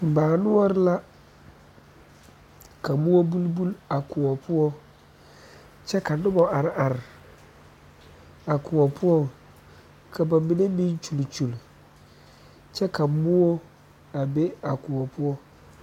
Baa noɔre la ka moɔ bulk bulk a kóɔ poɔ kyɛ ka noba are are a kóɔ poɔŋ ka ba mine meŋ kyuli kyuli kyɛ ka moɔ a be a kóɔ poɔ